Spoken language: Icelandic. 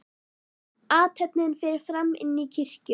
Athöfnin fer fram inni í kirkju.